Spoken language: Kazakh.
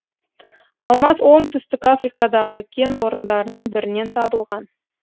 алмаз оңтүстік африкадағы кен орындарының бірінен табылған